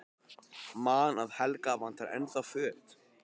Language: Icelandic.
Man að Helga vantar ennþá föt.